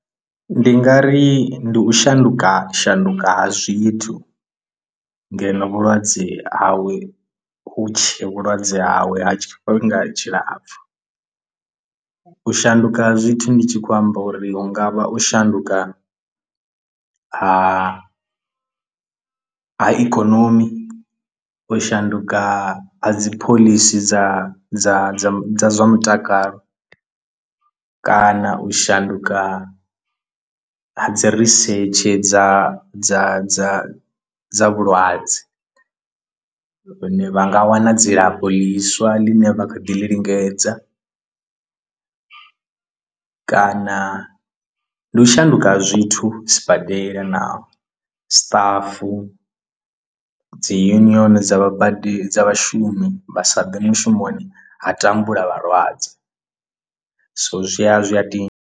Ndi nga ri ndi u shanduka shanduka ha zwithu ngeno vhulwadze hawe hutshe vhulwadze hawe ha tshifhinga tshilapfhu u shanduka ha zwithu ndi tshi khou amba uri hungavha u shanduka ha ha ikonomi u shanduka ha dzi phoḽisi dza dza dza dza zwa mutakalo kana u shanduka a dzi risetshe dza dza dza dza vhulwadze vhune vha nga wana dzilafho ḽiswa ḽine vha kha ḓi lingedza kana ndi u shanduka ha zwithu sibadela na stuff dzi union dza vha badi dza vhashumi vha sa ḓe mushumoni ha tambula vhalwadze so zwi a zwi a dina.